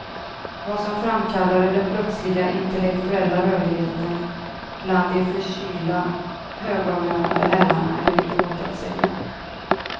Vad som framkallade den plötsliga intellektuella rörligheten bland de för kyla högavlönade herrarna är inte gott att säga.